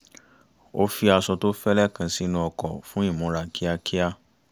ó fi aṣọ tó fẹ́lẹ́ kan sínú ọkọ̀ fún ìmúra kíákíá